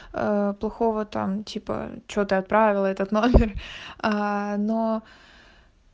ээ плохого там типа чего ты отправила этот номер ээ но